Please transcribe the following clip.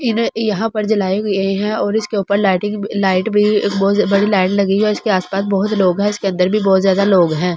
इन यहाँ पर जो लाय गये और इसके उपर लाइटिंग लाइट भी बहुत बड़ी लाइट लगी है और इसके आस पास बहुत लोग है इसके अंदर भी बहुत ज्यादा लोग है ।